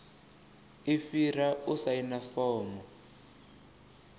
i fhira u saina fomo